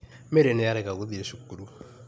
Mary nĩarega gũthiĩ cukuru.